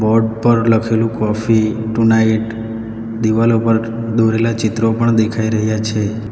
Board પર લખેલું coffee tonight દિવાલો પર દોરેલા ચિત્રો પણ દેખાઈ રહ્યા છે.